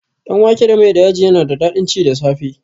Danwake da mai da yaji yana da daɗin ci da safe